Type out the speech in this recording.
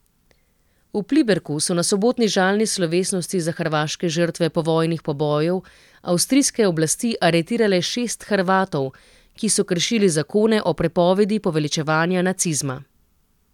V Pliberku so na sobotni žalni slovesnosti za hrvaške žrtve povojnih pobojev avstrijske oblasti aretirale šest Hrvatov, ki so kršili zakone o prepovedi poveličevanja nacizma.